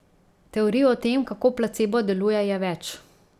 Teorij o tem, kako placebo deluje, je več.